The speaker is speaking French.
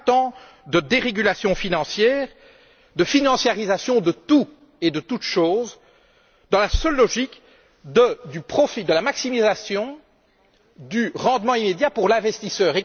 Vingt ans de dérégulation financière, de financiarisation de tout et de toute chose dans la seule logique du profit, de sa maximisation, du rendement immédiat pour l'investisseur.